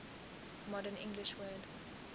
modern english word